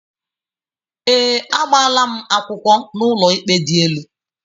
Ee, agbaala m akwụkwọ n'ụlọikpe dị elu